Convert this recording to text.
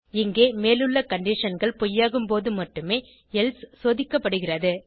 இங்கே மேலுள்ள conditionகள் பொய்யாகும் போது மட்டுமே எல்சே சோதிக்கப்படுகிறது